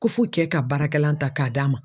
Ko fo kɛ ka baarakɛla ta k'a d'a ma.